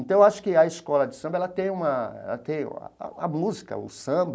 Então, acho que a escola de samba ela tem uma ela tem a a a música, o samba,